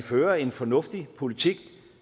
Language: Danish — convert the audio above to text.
fører en fornuftig politik